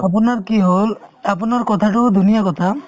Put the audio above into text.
আপোনাৰ কি হ'ল আপোনাৰ কথাটো ধুনীয়া কথা